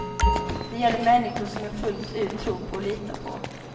Det gäller människor som jag fullt ut tror på och litar på.